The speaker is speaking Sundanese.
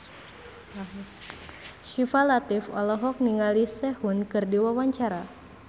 Syifa Latief olohok ningali Sehun keur diwawancara